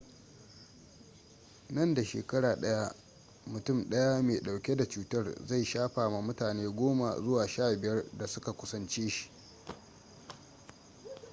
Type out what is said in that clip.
nan da shekara ɗaya mutum daya mai ɗauke da cutar zai shafa ma mutane 10 zuwa 15 da suka kusance shi